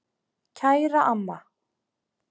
Kæra amma.